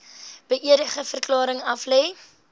beëdigde verklaring aflê